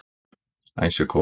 Æsukór